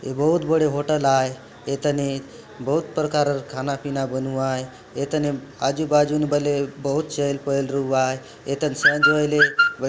ए बहुत बड़े होटल आए ए तने बहुत प्रकार खाना-पीना बनुवाये ए तने आजू-बाजू मे बले बहुत चहल पहल रु आए ए तन साँझ होये ले --